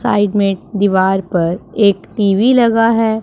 Side में दीवार पर एक टी_वी लगा हैं।